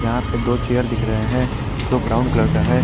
यहां पे दो चेयर दिख रहे हैं जो ब्राउन कलर का है।